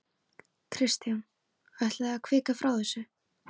Kristján: Ætlið þið að kvika frá þessu?